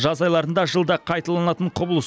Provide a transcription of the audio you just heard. жаз айларында жылда қайталанатын құбылыс